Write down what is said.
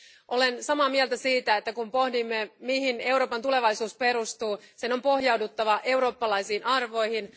Olen samaa mieltä siitä, että kun pohdimme, mihin Euroopan tulevaisuus perustuu, sen on pohjauduttava eurooppalaisiin arvoihin.